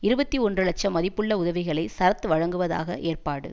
இருபத்தி ஒன்று லட்சம் மதிப்புள்ள உதவிகளை சரத் வழங்குவதாக ஏற்பாடு